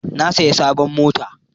Na saya sabon mota